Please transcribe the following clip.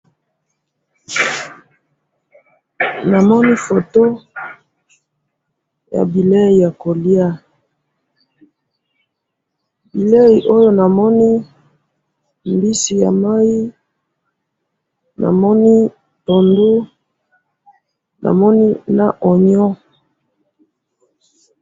namoni photo ya bilei ya kolia, bilei oyo namoni mbisi ya mayi, namoni pondu, namoni na pondu